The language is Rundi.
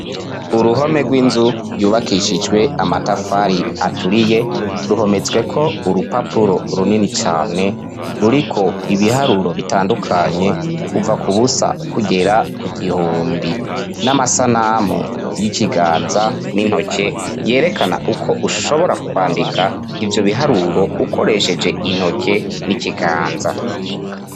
Uruhome rw'inzu yubakishijwe amatafari aturiye, ruhometsweko urupapuro runini cane ruriko ibiharuro bitandukanye kuva kubusa kugera ku gihumbi ,n'amasanamu y'ikiganza n'intoke yerekana uko ushobora kwandika ivyo biharuro ukoresheje intoke n'ikiganza.